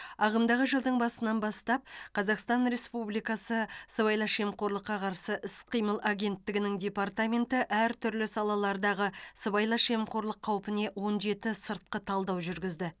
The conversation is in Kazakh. ағымдағы жылдың басынан бастап қазақстан республикасы сыбайлас жемқорлыққа қарсы іс қимыл агенттігінің департаменті әртүрлі салалардағы сыбайлас жемқорлық қауіпіне он жеті сыртқы талдау жүргізді